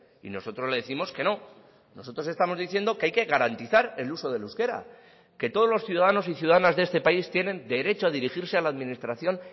y nosotros le décimos que no nosotros estamos diciendo que hay que garantizar el uso del euskera que todos los ciudadanos y ciudadanas de este país tienen derecho a dirigirse a la administración